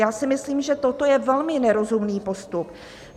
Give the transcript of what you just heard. Já si myslím, že toto je velmi nerozumný postup.